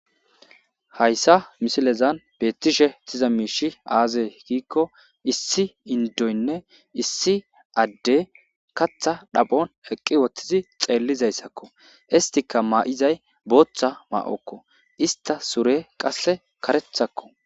Hayssa misilezan beettishe tiza miishi aaze giikko issi indoynne issi adde katha dhaphon eqqi woththizi xeellizayssakko istika ma7izay booththa ma7okko ista sure qasse karethakko.